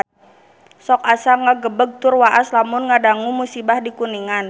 Sok asa ngagebeg tur waas lamun ngadangu musibah di Kuningan